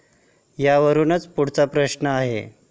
यावरुनच पुढचा प्रश्न आहे.